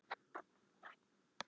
Sölvi horfði sviplaus á mig.